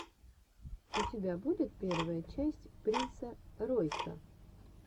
у тебя будет первая часть принса ройса